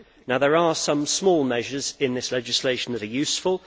There are some small measures in this legislation which are useful.